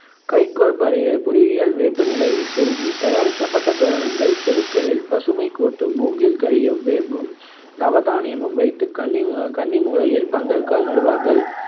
கைக்கோல் பரி~ புரியியல் வேப்பிலை செருகி தயாரிக்கப்பட்ட தோரணங்கள், தெருக்களில் பசுமைக் கூட்டும். மூங்கில் கழியில் வேம்பும், நவதானியமும் வைத்து கன்னி கன்னிமூலையில் பந்தல்கால் நடுவார்கள்.